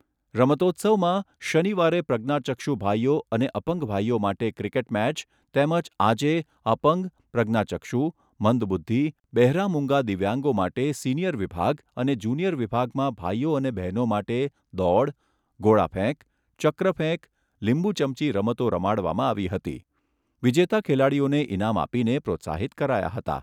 રમતોત્સવમાં શનિવારે પ્રજ્ઞાચક્ષુ ભાઈઓ અને અપંગ ભાઈઓ માટે ક્રિકેટ મેચ, તેમજ આજે અપંગ, પ્રજ્ઞાચક્ષુ, મંદબુદ્ધિ, બહેરા મૂંગા દિવ્યાંગો માટે સિનિયર વિભાગ અને જુનિયર વિભાગમાં ભાઈઓ અને બહેનો માટે દોડ, ગોળાફેંક, ચક્ર ફેક, લીંબુ ચમચી રમતો રમાડવામાં આવી હતી વિજેતા ખેલાડીઓને ઈનામ આપીને પ્રોત્સાહિત કરાયા હતા.